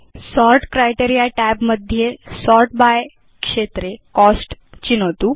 sort criteria tab मध्ये sort by क्षेत्रे cost चिनोतु